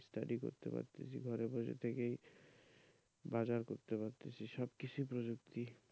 study করতে পারছি ঘরে বসে থেকেই বাজার করতে পারছি সবকিছুই প্রযুক্তি,